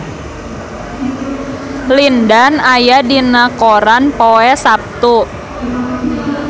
Lin Dan aya dina koran poe Saptu